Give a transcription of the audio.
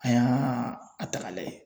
An y'a a ta ka lajɛ